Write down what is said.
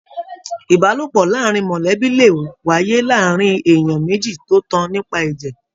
Ìbálòpọ̀ láàrín mọlẹbi le wáyé láàárín ènìyàn méjì tó tan nípa ẹjẹ.